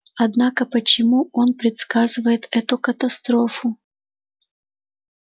однако почему он предсказывает эту катастрофу